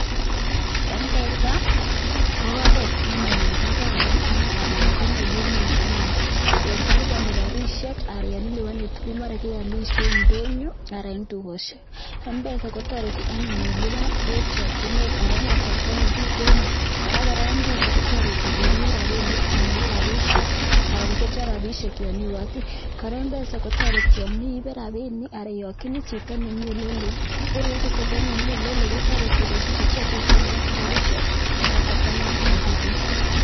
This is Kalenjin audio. Mpesa ko oret anyun nekararan anan ko nenyumnyum yan kilipani rapishek ak yon ilipani tukuk maran kealisye eng ndonyo anan eng tukoshek, Mpesa kotoreti anyun ilipan eng chakyinet anan eng kasarta nekiteno, ak koraa Mpesa kotoreti korib rapinik, amakiip rapishek anan kobetyo rapishek eng yon iiboti, Mpesa kotoreti kora